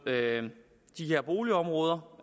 de her boligområder